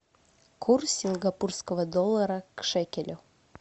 курс сингапурского доллара к шекелю